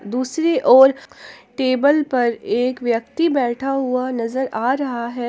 दूसरी ओर टेबल पर एक व्यक्ति बैठा हुआ नजर आ रहा है।